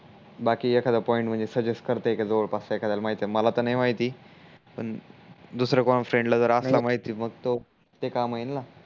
बाकी एखादा पॉइंट म्हणजे सजजेसत करताय का जवडपास च्या एकध्या ला माहीत आहे मला त नाही माहिती पण दुसऱ्या कोण्या फ्रेंड ला जर असणार माहिती मग ते काम होईल ना